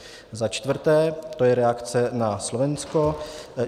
Za čtvrté to je reakce na Slovensko.